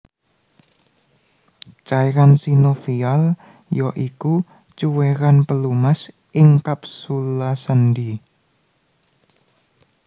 Cairan sinovial ya iku cuwéran pelumas ing kapsula sendhi